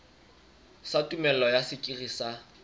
sa tumello ya sekiri sa